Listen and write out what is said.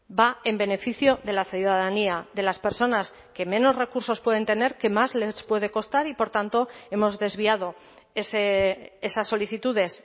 va en beneficio de la ciudadanía de las personas que menos recursos pueden tener que más les puede costar y por tanto hemos desviado esas solicitudes